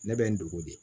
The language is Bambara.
Ne bɛ n dogo de